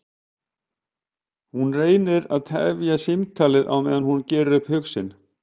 Hún reynir að tefja símtalið á meðan hún gerir upp hug sinn.